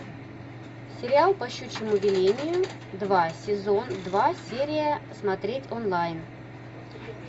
сериал по щучьему велению два сезон два серия смотреть онлайн